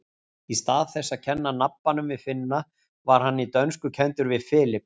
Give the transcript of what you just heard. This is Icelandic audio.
Í stað þess að kenna nabbann við Finna var hann í dönsku kenndur við Philip.